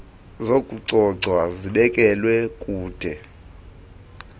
zokucoca zibekelwa kude